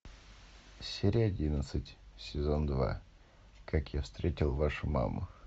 серия одиннадцать сезон два как я встретил вашу маму